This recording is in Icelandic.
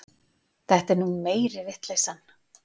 Þetta er nú meiri vitleysan.